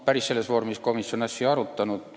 Päris sellises vormis komisjon asja ei arutanud.